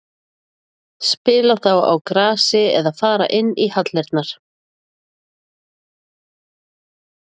Spila þá á grasi eða fara inn í hallirnar?